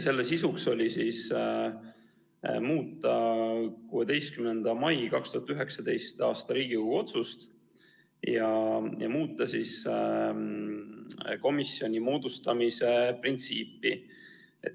Selle sisuks oli muuta 16. mail 2019. aastal tehtud Riigikogu otsust ja muuta komisjoni moodustamise printsiipi.